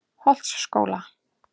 Holtsskóla